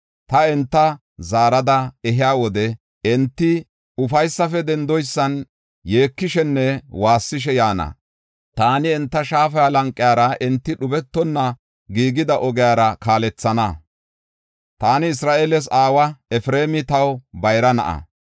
Ta enta zaarada ehiya wode enti ufaysafe dendoysan yeekishenne woossishe yaana. Taani enta shaafa lanqiyara, enti dhubetonna giigida ogiyara kaalethana. Taani Isra7eeles aawa; Efreemi taw bayra na7a.